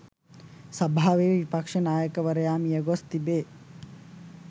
සභාවේ විපක්ෂ නායකවරයා මියගොස් තිබේ.